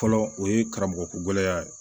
Fɔlɔ o ye karamɔgɔ ko gɛlɛya ye